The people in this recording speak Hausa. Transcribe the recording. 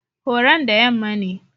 Horon da yamma ne.